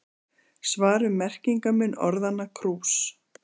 svar um merkingarmun orðanna krús